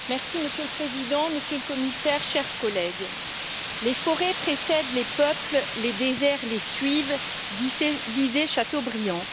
Monsieur le Président, Monsieur le Commissaire, chers collègues, les forêts précèdent les peuples, les déserts les suivent, disait Chateaubriand.